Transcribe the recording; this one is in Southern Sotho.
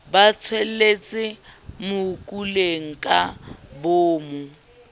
ba shwelletse mokuleng ka boomo